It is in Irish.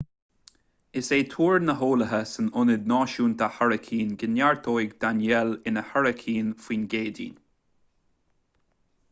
is é tuar na n-eolaithe san ionad náisiúnta hairicín go neartóidh danielle ina hairicín faoin gcéadaoin